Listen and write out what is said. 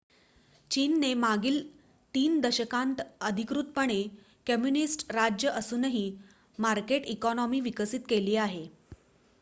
चीनने मागील ३ दशकांत अधिकृतपणे कम्युनिस्ट राज्य असूनही मार्केट इकोनॉमी विकसित केली आहे